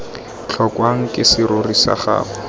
tlhokwang ke serori sa gago